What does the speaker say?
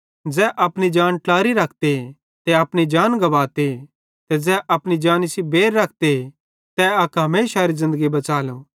ज़ै अपनी जान ट्लारी रखते ते अपनी जान गुवाते पन ज़ै अपनी जानी सेइं बैर रखते ते अक हमेशारी ज़िन्दगी बच़ालो